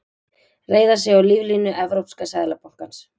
Reiða sig á líflínu Evrópska seðlabankans